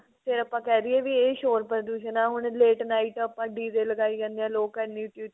ਫੇਰ ਆਪਾਂ ਕਹਿਦੀਏ ਵੀ ਇਹ ਸ਼ੋਰ ਪ੍ਰਦੂਸ਼ਨ ਹੈ ਹੁਣ late night ਆਪਾਂ DJ ਲਗਾਈ ਜਾਂਦੇ ਹਾਂ ਲੋਕ ਇਹਨੀ ਉੱਚੀ